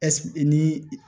Ɛsip ni